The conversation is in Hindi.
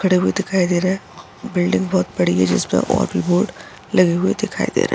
खड़े हुए दिखाई दे रहे हैं। बिल्डिंग बोहोत बड़ी है जिस पे और भी बोर्ड लगे हुए दिखाई दे रहे हैं।